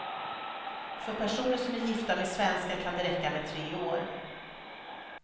För personer som är gifta med svenskar kan det räcka med tre år.